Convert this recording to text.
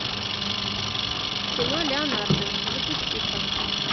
кино леонардо запусти ка